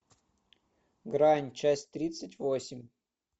грань часть тридцать восемь